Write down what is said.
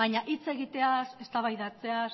baina hitz egiteaz eztabaidatzeaz